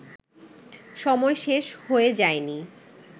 সময় শেষ হয়ে যায়নি